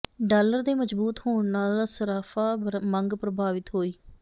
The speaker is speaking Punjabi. ਡਾਲਰ ਦੇ ਮਜ਼ਬੂਤ ਹੋਣ ਨਾਲ ਸੱਰਾਫ਼ਾ ਮੰਗ ਪ੍ਰਭਾਵਿਤ ਹੋਈ